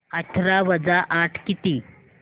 अठरा वजा आठ किती